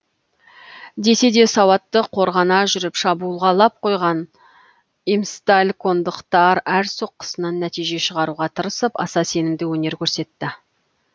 десе де сауатты қорғана жүріп шабуылға лап қойған имсталькондықтар әр соққысынан нәтиже шығаруға тырысып аса сенімді өнер көрсетті